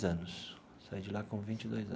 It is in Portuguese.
Anos saí de lá com vinte e dois anos.